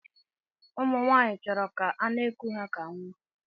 Ụmụnwanyi chọrọ ka ana iku ha ka nwa.